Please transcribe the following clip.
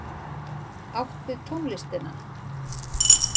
Átt við tónlistina.